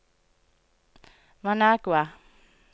Managua